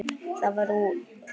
Það varð úr.